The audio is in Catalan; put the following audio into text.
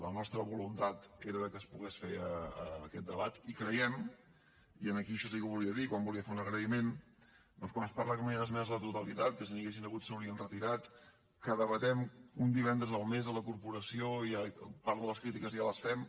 la nostra voluntat era de que es pogués fer aquest debat i creiem i en aquí això sí que ho volia dir quan volia fer un agraïment doncs quan es parla de que no hi han esmenes a la totalitat que si n’hi haguessin hagut s’haurien retirat que debatem un divendres al mes a la corporació i part de les crítiques ja les fem